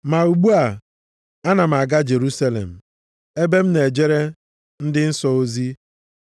Ma ugbu a, ana m aga Jerusalem ebe m na-ejere ndị nsọ ozi.